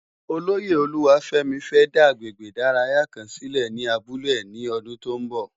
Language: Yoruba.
Ólóyé Oluwafemi fè dá àgbégbé idàráyá kán silé ni àbúlé è ni òdún tó n bò